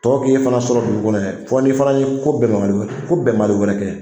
Tɔ k'i fana sɔrɔ dugu kɔnɔ fɔ n'i fana ye ko bɛnbali wɛrɛ ko bɛnbali wɛrɛ kɛ